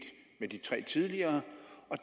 med de tre tidligere